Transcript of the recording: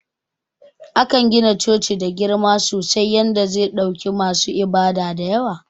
Akan gina coci da girma sosai yanda ze ɗauki masu ibada dayawa.